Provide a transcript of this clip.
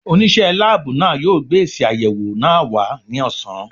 Onise láàbù náà yo gbé èsì ayẹwo náà wá ní ọ̀sán